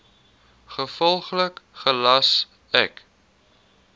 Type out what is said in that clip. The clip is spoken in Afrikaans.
gevolglik gelas ek